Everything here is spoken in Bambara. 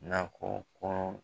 Nakɔko.